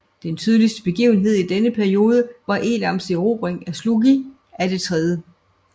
Den betydeligste begivenhed i denne periode var Elams erobring af Shulgi af det 3